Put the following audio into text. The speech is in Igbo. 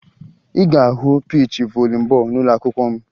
Ị ga-ahụ piichi voli bọọlụ n'ụlọakwụkwọ m